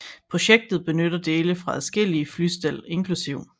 Projektet benytter dele fra adskillige flystel inkl